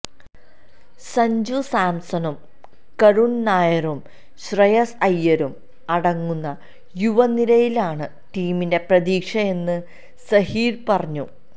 സഞ്ജു സാംസണും കരുണ് നായരും ശ്രേയസ് അയ്യരും അടങ്ങുന്ന യുവ നിരയിലാണ് ടീമിന്റെ പ്രതീക്ഷയെന്ന് സഹീര് പറഞ്ഞു